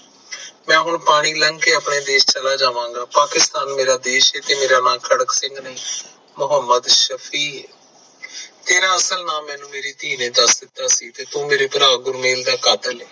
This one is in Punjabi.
ਮੈਂ ਹੁਣ ਪਾਣੀ ਲੱਗ ਕੇ ਆਪਣੇ ਦੇਸ ਚਲਾ ਜਾਵਾਂ ਜਾ ਪਾਕਿਸਤਾਨ ਮੇਰਾ ਦੇਸ ਏ ਤੇ ਮੇਰਾ ਨਾਮ ਹੈ ਤੇ ਮੇਰਾ ਨਾਮ ਖੜਕ ਸਿੰਘ ਨਹੀਂ ਮੋਹੰਮਦ ਸਫ਼ੀਰ ਏ, ਤੇਰਾ ਅਸਲੀ ਨਾਮ ਮੈਨੂੰ ਮੇਰੀ ਧੀ ਨੇ ਦਸ ਦਿੱਤੋ ਸੀ ਤੂੰ ਮੇਰਾ ਭਰਾ ਗੁਰਮਿਲ ਦਾ ਕਤਲ ਹੈ